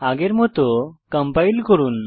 আগের মত কম্পাইল করুন